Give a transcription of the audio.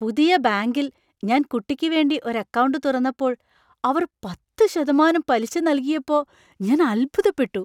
പുതിയ ബാങ്കിൽ ഞാൻ കുട്ടിക്ക് വേണ്ടി ഒരു അക്കൗണ്ട് തുറന്നപ്പോൾ അവർ പത്ത് ശതമാനം പലിശ നൽകിയപ്പോ ഞാൻ അത്ഭുതപ്പെട്ടു.